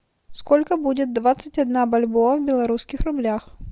сколько будет двадцать одна бальбоа в белорусских рублях